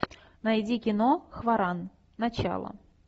найди кино хваран начало